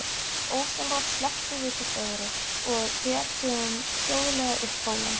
Ósjálfrátt slepptum við hvort öðru og fetuðum hljóðlega upp hólinn.